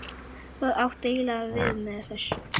Hvað áttu eiginlega við með þessu?